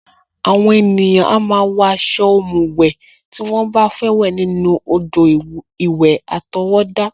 Àwọn ènìyàn a máa ń wọ aṣọ ọ̀mùwẹ̀ tí wọ́n bá fẹ́ wẹ̀ nínú odò-ìwẹ̀ àtọwọ́dá